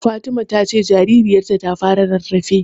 Fatima ta ce jaririyarta ta fara rarrafe.